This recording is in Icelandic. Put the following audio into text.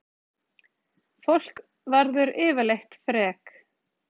Fólk verður yfirleitt frek